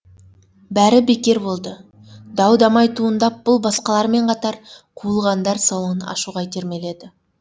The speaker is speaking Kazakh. бәрі бекер болды дау дамай туындап бұл басқалармен қатар қуылғандар салонын ашуға итермеледі